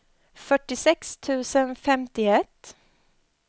fyrtiosex tusen femtioett